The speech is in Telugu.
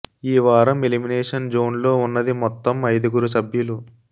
ఈ వారం ఎలిమినేషన్ జోన్ లో ఉన్నది మొత్తం ఐదుగురు సభ్యులు